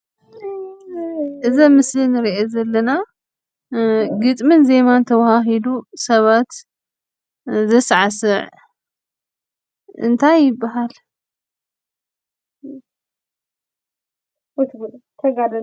እዚ ኣብ ምስሊ እንሪኦ ዘለና ግጥምን ዜማን ተዋሃሂዱ ሰባት ዘሳዕስዕ እንታይ ይባሃል?